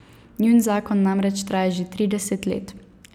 Njun zakon namreč traja že trideset let.